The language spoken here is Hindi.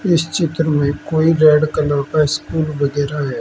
इस चित्र में कोई रेड कलर का स्कूल वगैरह है।